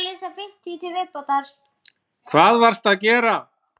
Hvað varstu að gera?